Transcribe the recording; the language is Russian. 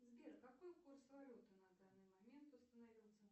сбер какой курс валюты на данный момент установился